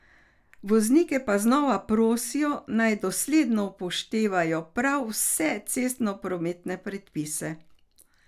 Voznike pa znova prosijo, naj dosledno upoštevajo prav vse cestoprometne predpise.